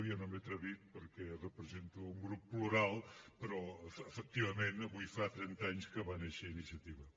jo no m’he atrevit perquè represento un grup plural però efectivament avui fa trenta anys que va néixer iniciativa